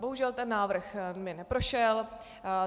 Bohužel ten návrh mi neprošel.